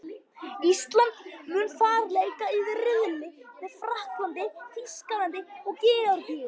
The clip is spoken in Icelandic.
Ísland mun þar leika í riðli með Frakklandi, Þýskalandi og Georgíu.